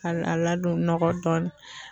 A a a ladon nɔgɔ dɔɔnin